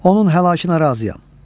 Onun həlakına razıyam.